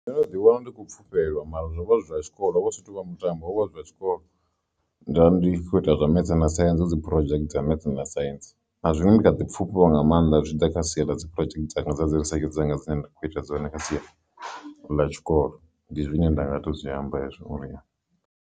Ndo no ḓi wana ndi khou pfhufhelwa mara zwo vha zwi zwa tshikolo ho vha hu si tovha mutambo hovha hu zwa tshikolo nda ndi kho ita zwa mths na science hu dzi project dza maths na science na zwiṅwe ndi kha ḓi pfhufhiwa nga maanḓa zwitshiḓa kha sia ḽa dzi project dzanga dzi risetshe dzanga dzine nda kho ita dzone kha sia ḽa tshikolo ndi zwine nda nga to zwi amba hezwo.